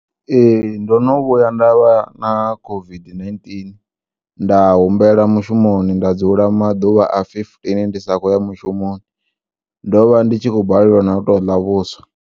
E, ndinivhuya ndavha na COVID-19 nda humbela mushumoni ndadzula maḓuvha a fifteen ndisakhouya mushoni ndovha nditshikhou balelwa nautoḽa vhuswa.